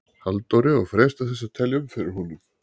Halldóri og freista þess að telja um fyrir honum.